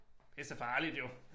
Det så farligt jo